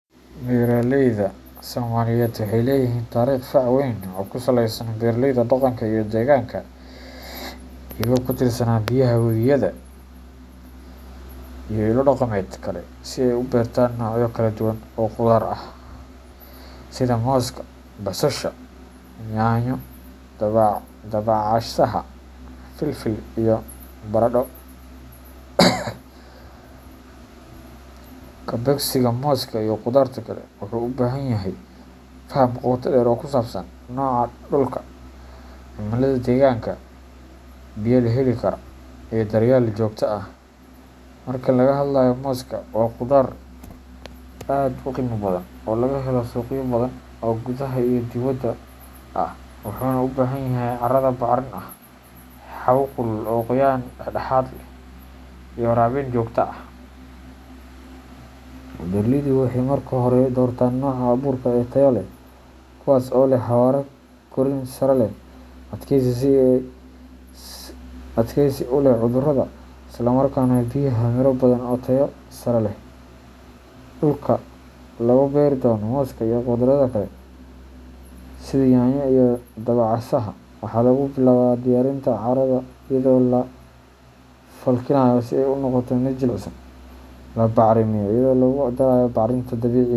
Beeralayda Soomaaliyeed waxay leeyihiin taariikh fac weyn oo ku saleysan beeraleyda dhaqanka iyo deegaanka, iyagoo ku tiirsanaa biyaha webiyada, roobabka, iyo ilo dhaqameed kale si ay u beertaan noocyo kala duwan oo khudaar ah sida moska basasha, yaanyo, dabacasaha, filfil, iyo baradho. Ka beegsiga moska iyo khudaarta kale wuxuu u baahan yahay faham qoto dheer oo ku saabsan nooca dhulka, cimilada deegaanka, biyaha la heli karo, iyo daryeel joogto ah. Marka laga hadlayo moska, waa khudaar aad u qiimo badan oo laga helo suuqyo badan oo gudaha iyo dibaddaba ah, wuxuuna u baahan yahay carrada bacrin ah, hawo kulul oo qoyaan dhexdhexaad ah leh, iyo waraabin joogto ah. Beeraleydu waxay marka hore doortaan nooca abuurka ah ee tayo leh, kuwaas oo leh xawaare korriin sare leh, adkaysi u leh cudurrada, isla markaana bixiya miro badan oo tayo sare leh. Dhulka la beeri doono moska iyo khudradda kale sida yaanyo iyo dabacasaha, waxaa lagu bilaabaa diyaarinta carrada iyadoo la falkinayo si ay u noqoto mid jilicsan, la bacrimiyo iyadoo lagu darayo bacrinta dabiiciga .